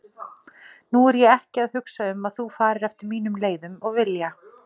Nú er ég ekki að hugsa um að þú farir eftir mínum leiðum og vilja.